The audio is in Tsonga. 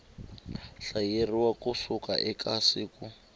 hlayeriwa ku suka eka siku